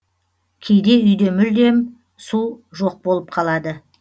кейде үйде мүлдем су жоқ болып қалады